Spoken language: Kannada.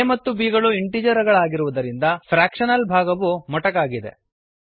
a ಮತ್ತು b ಗಳು ಇಂಟಿಜರ್ ಗಳಾಗಿರುವುದರಿಂದ ಫ್ರ್ಯಾಕ್ಷನಲ್ ಭಾಗವು ಮೊಟಕಾಗಿದೆ